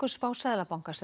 spá Seðlabankans